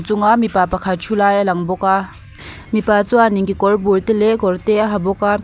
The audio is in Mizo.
a chungah mipa pakhat thu lai a lang bawk a mipa chuanin kekawr bul leh kawr te a ha bawk a.